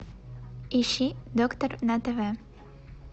ищи доктор на тв